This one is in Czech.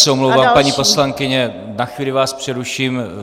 Já se omlouvám, paní poslankyně, na chvíli vás přeruším.